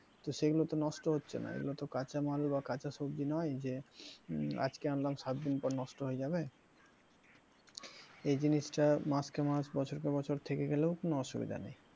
তো সেগুলো তো নষ্ট হচ্ছে না এগুলোতো কাঁচামাল বা কাঁচা সবজি নয় যে আজকে আনলাম সাতদিন পর নষ্ট হয়ে যাবে এই জিনিসটা মাসকে মাস বছরের পর বছর থেকে গেলেও কোনো অসুবিধা নেই,